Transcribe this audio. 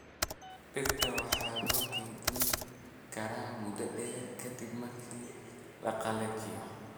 Digirta waxaa lagu keydin karaa muddo dheer ka dib markii la qallajiyo.